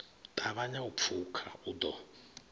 ṱavhanya u pfuka u ḓo